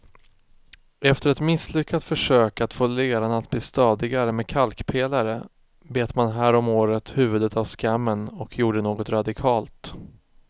Efter ett misslyckat försök att få leran att bli stadigare med kalkpelare bet man häromåret huvudet av skammen och gjorde något radikalt.